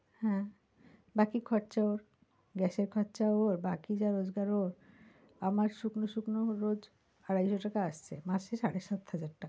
হ্যাঁ, বাকি খরচা ওর গ্যাস এর খরচা ওর বাকি যা রোজকার ওর আমার শুকনো শুকনো রোজ আড়াইশো টাকা আসছে, মাসে সাড়ে সাত হাজার টাকা।